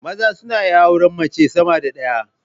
Maza suna iya auran mace sama da ɗaya